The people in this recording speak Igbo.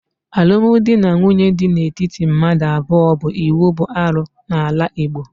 Alụmdi na nwunye di n'etiti mmadụ abụọ bụ íkwù bụ arụ n'ala Igbo